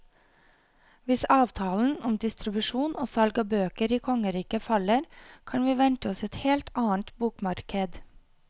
Hvis avtalen om distribusjon og salg av bøker i kongeriket faller, kan vi vente oss et helt annet bokmarked.